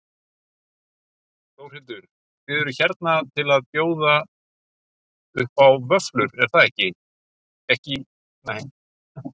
Þórhildur: Þið eruð hérna að bjóða upp á vöfflur, ekki í fyrsta skipti eða hvað?